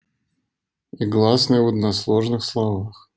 гласные в односложных слова